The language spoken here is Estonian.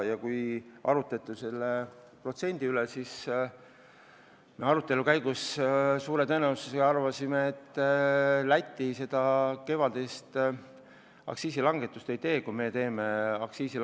Kui arutati seda protsenti, siis me arvasime, et Läti suure tõenäosusega kevadist aktsiisilangetust ei tee, kui meie selle teeme.